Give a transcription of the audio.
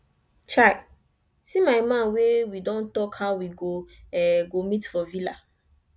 chai see my man wey we don talk how we go meet for villa